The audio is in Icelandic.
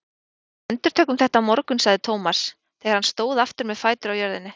Við endurtökum þetta á morgun sagði Thomas þegar hann stóð aftur með fætur á jörðinni.